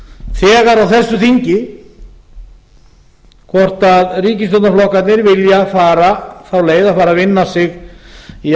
þegar á þessu þingi hvort ríkisstjórnarflokkarnir vilja fara þá leið að vinna sig í